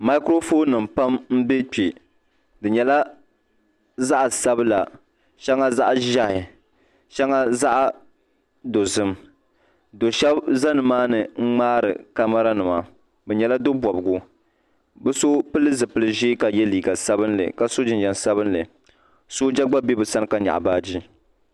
makorofon nim pam n be kpe di nyɛla zaɣ sabla shaŋa zaɣ ʒɛhi shaŋa zaɣ dozim do shɛbi za ni maa ni n mŋaari kamara nima bi nyɛla do bobgu bi so pili zipilbʒiɛ kabye Keegan sabinli kaso jinjɛm sabinli sooja gba be bi sani ka nyɛɣi baagi